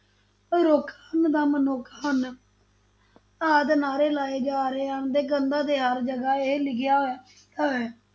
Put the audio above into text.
ਤਾਂ ਰੁੱਖ ਹਨ ਤਾਂ ਮਨੁੱਖ ਹਨ ਆਦਿ ਨਾਅਰੇ ਜਾ ਰਹੇ ਹਨ ਤੇ ਕੰਧਾਂ ਤੇ ਹਰ ਜਗ੍ਹਾ ਇਹ ਲਿਖਿਆ ਹੋਇਆ ਹੈ,